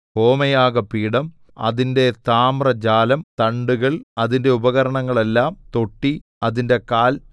ഹോമയാഗപീഠം അതിന്റെ താമ്രജാലം തണ്ടുകൾ അതിന്റെ ഉപകരണങ്ങളെല്ലാം തൊട്ടി അതിന്റെ കാൽ